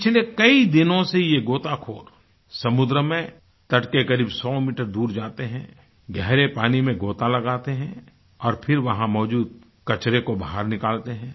पिछले कई दिनों से ये गोताखोर समुद्र में तट के करीब 100 मीटर दूर जाते है गहरे पानी में गोता लगाते हैं और फिर वहाँ मौजूद कचरे को बाहर निकालते हैं